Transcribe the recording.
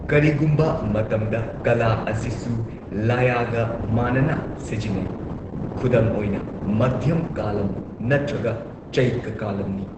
ꯀꯔꯤꯒꯨꯝꯕ ꯃꯇꯝꯗ, ꯀꯥꯂꯥ ꯑꯁꯤꯁꯨ ꯂꯥꯌꯥꯒ ꯃꯥꯟꯅꯅ ꯁꯤꯖꯤꯟꯅꯩ, ꯈꯨꯗꯝ ꯑꯣꯏꯅ, ꯃꯙ꯭ꯌꯝ ꯀꯥꯂꯝ ꯅꯠꯇ꯭ꯔꯒ ꯆꯩꯀ ꯀꯥꯂꯝꯅꯤ꯫